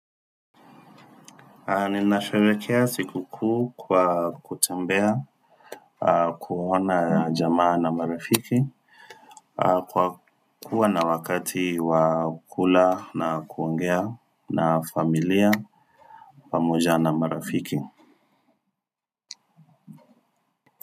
Ninasharekea siku kuu kwa kutembea, kuona jamaa na marafiki, kwa kuwa na wakati wa kula na kuongea na familia, pamoja na marafiki.